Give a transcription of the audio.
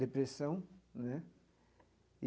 depressão né.